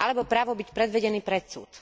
alebo právo byť predvedený pred súd.